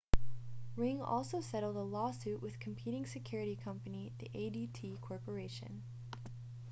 ring also settled a lawsuit with competing security company the adt corporation